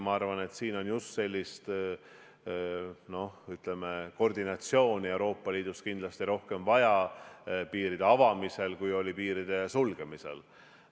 Ma arvan, et, ütleme, koordinatsiooni Euroopa Liidus piiride avamisel on kindlasti rohkem vaja, kui oli piiride sulgemisel.